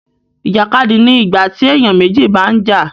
Ìjàkadì ni ìgbà tí èèyàn méjì bá ń jà